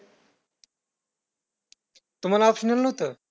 तुम्हांला optional नव्हतं?